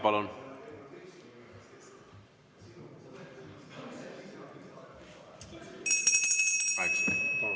Palun kaheksa minutit.